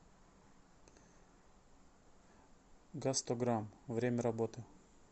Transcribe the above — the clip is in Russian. гастограм время работы